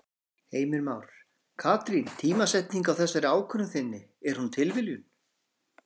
Heimir Már: Katrín tímasetningin á þessari ákvörðun þinni, er hún tilviljun?